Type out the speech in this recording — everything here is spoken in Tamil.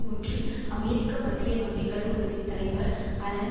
ஒன்றில் அமெரிக்க மத்திய வங்கிகள் குழுவின் தலைவர் அலன்